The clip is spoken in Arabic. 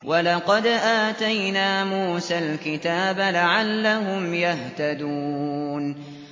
وَلَقَدْ آتَيْنَا مُوسَى الْكِتَابَ لَعَلَّهُمْ يَهْتَدُونَ